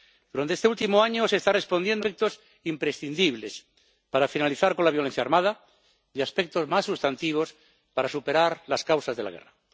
Durante este último año se está respondiendo a aspectos imprescindibles para finalizar con la violencia armada y a aspectos más sustantivos para superar las causas de la guerra.